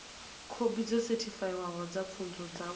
khophi dzo sethifaiwaho dza pfunzo dzavho